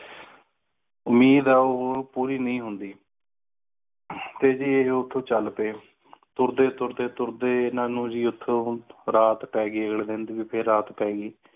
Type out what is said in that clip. ਉਮੀਦ ਆ ਉਹ ਪੂਰੀ ਨਹੀਂ ਹੋਂਦੀ ਤੇ ਉਥੇ ਚਾਲ ਪਏ ਤੇ ਤੁਰਦੇ ਤੁਰਦੇ ਤੁਰਦੇ ਇਨ੍ਹਾਂ ਨੂੰ ਉਥੇ ਰਾਤ ਪੈ ਗਈ ਰਾਤ ਪੈ ਗਈ